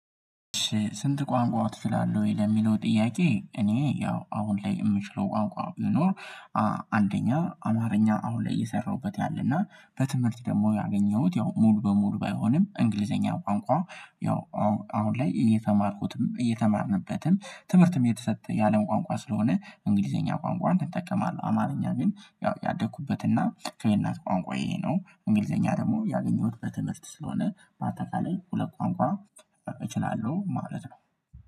ስንት ቋንቋ ትችላለህ ወይ? ለሚለው ጥያቄ እኔ ያው አሁን ላይ የምችለው ቋንቋ ቢኖር አማርኛ አሁን ላይ እየሰራሁበት ያለና በትምህርት ደግሞ ያገኘሁት ያው ሙሉ በሙሉ ባይሆንም እንግሊዝኛ ቋንቋ ያው አሁን ላይ እየተማርኩትም እየተማርንበትም ትምህርትም የተሰጠ የአለም ቋንቋ ስለሆነ እንግሊዝኛ ቋንቋን እጠቀማለሁ አማርኛ ግን ያደኩበትና ከየእናት ቋንቋ ይሄ ነው እንግሊዝኛ ደግሞ ያገኘሁት በትምህርት ስለሆነ በአጠቃላይ ሁለት ቋንቋ እችላለሁ ማለት ነው